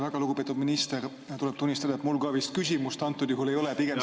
Väga lugupeetud minister, tuleb tunnistada, et mul ka vist küsimust antud juhul ei ole, pigem selline ...